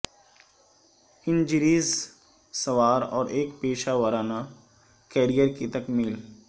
injuries سوار اور ایک پیشہ ورانہ کیریئر کی تکمیل